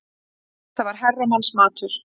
Þetta var herramannsmatur.